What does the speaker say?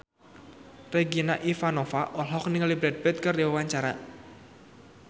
Regina Ivanova olohok ningali Brad Pitt keur diwawancara